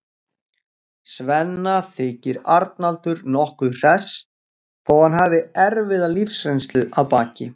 Svenna þykir Arnaldur nokkuð hress þó að hann hafi erfiða lífsreynslu að baki.